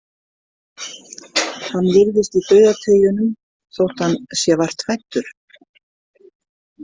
Hann virðist í dauðateygjunum, þótt hann sé vart fæddur.